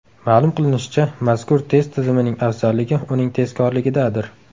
Ma’lum qilinishicha, mazkur test tizimining afzalligi uning tezkorligidadir.